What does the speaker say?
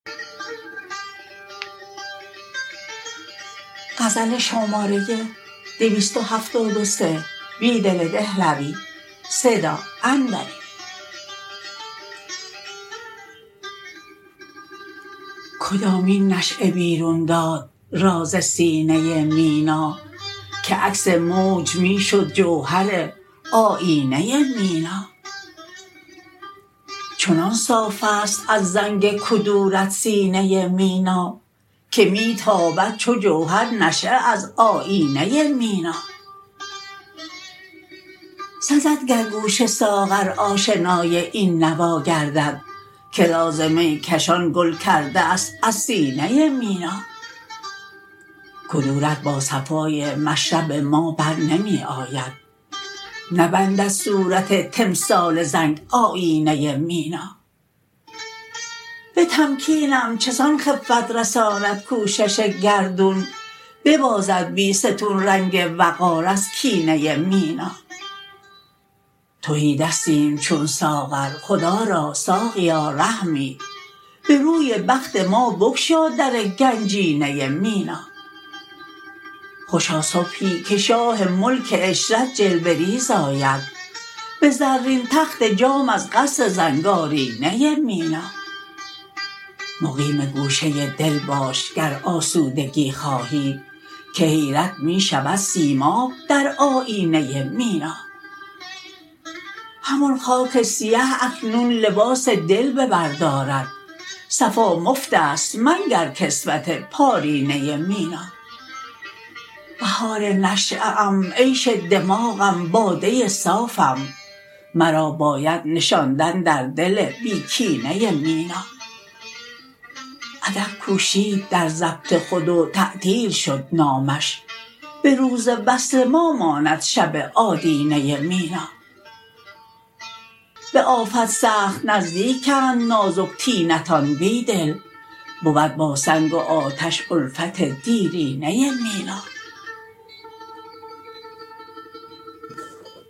کدامین نشیه بیرون داد راز سینه مینا که عکس موج می شد جوهرآیینه مینا چنان صاف ست از زنگ کدورت سینه مینا که می تابد چو جوهر نشیه از آیینه مینا سزدگرگوش ساغر آشنای این نواگردد که راز میکشان گل کرده است از سینه مینا کدورت با صفای مشرب ما برنمی آید نبندد صورت تمثال زنگ آیینه مینا به تمکینم چسان خفت رساندکوشش گردون ببازد بیستون رنگ وقار ازکینه مینا تهی دستیم چون ساغر خدا را ساقیا رحمی به روی بخت ما بگشا درگنجینه مینا خوشا صبحی که شاه ملک عشرت جلوه ریزآید به زرین تخت جام از قصر زنگارینه مینا مقیم گوشه دل باش گر آسودگی خواهی که حیرت می شود سیماب در آیینه مینا همان خاک سیه اکنون لباس دل به بر دارد صفا مفت است منگرکسوت پارینه مینا بهار نشیه ام عیش دماغم باده صافم مرا باید نشاندن در دل بی کینه مینا ادب کوشید در ضبط خود وتعطیل شد نامش به روز وصل ما ماند شب آدینه مینا به آفت سخت نزدیکند نازک طینتان بیدل بود با سنگ و آتش الفت دیرینه مینا